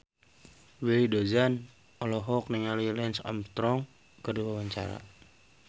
Willy Dozan olohok ningali Lance Armstrong keur diwawancara